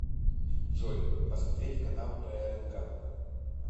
джой посмотреть канал прнк